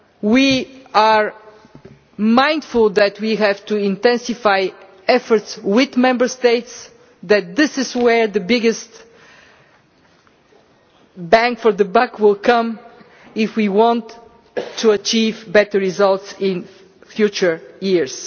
We are mindful that we have to intensify efforts with Member States that this is where the biggest bang for the buck will come if we want to achieve better results in future years.